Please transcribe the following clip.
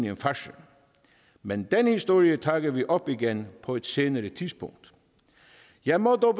en farce men den historie tager vi op igen på et senere tidspunkt jeg må dog